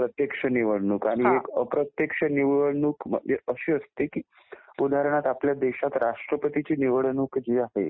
प्रत्यक्ष निवडणूक आणि एक अप्रत्यक्ष निवडणूक अशी असते की उदाहरणार्थ आपल्या देशात राष्ट्रपतीची निवडणूक जी आहे